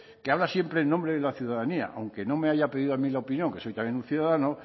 que habla siempre en nombre de la ciudadanía aunque no me haya pedido a mí la opinión que soy también un ciudadano